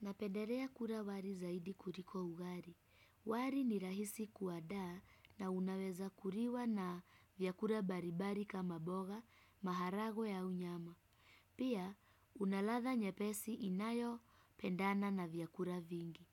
Napenderea kura wari zaidi kuriko ugari. Wari ni rahisi kuadaa na unaweza kuriwa na vyakura baribari kama boga, maharagwe au nyama. Pia, una ladha nyepesi inayopendana na vyakura vingi.